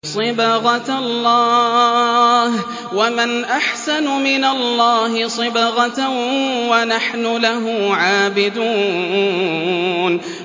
صِبْغَةَ اللَّهِ ۖ وَمَنْ أَحْسَنُ مِنَ اللَّهِ صِبْغَةً ۖ وَنَحْنُ لَهُ عَابِدُونَ